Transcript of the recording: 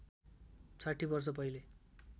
६० वर्ष पहिले